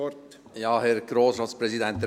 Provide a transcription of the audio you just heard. Sie haben das Wort.